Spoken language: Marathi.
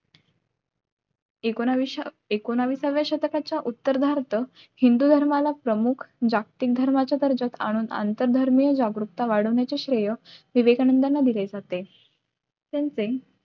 एकोणवीसच्या एकोणवीसच्या उत्तरार्ध हिंदू धर्माला प्रमुख जागतिक धर्माच्या दर्ज्यात आणून आंतरधर्मीय जागरूकता वाढविण्याचे श्रेय विवेकानंदना दिले जाते